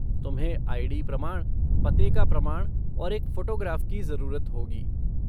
तुम्हें आई.डी. प्रमाण, पते का प्रमाण और एक फ़ोटोग्राफ़ की ज़रूरत होगी।